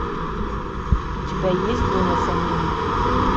у тебя есть голос америки